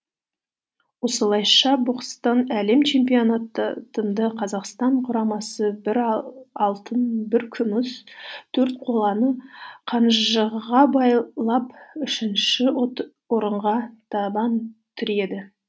осылайша бокстан әлем чемпионатында қазақстан құрамасы бір алтын бір күміс төрт қоланы қанжығаға байлап үшінші орынға табан тіреді